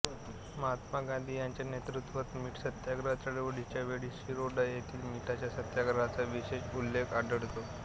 महात्मा गांधी यांच्या नेतृत्वात मीठ सत्याग्रह चळवळीच्या वेळी शिरोडा येथील मिठाच्या सत्याग्रहाचा विशेष उल्लेख आढळतो